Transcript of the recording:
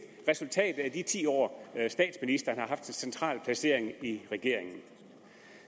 resultatet af de ti år statsministeren har haft en central placering i regeringen